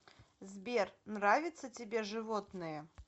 сбер нравится тебе животные